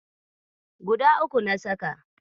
Guda uku na saka.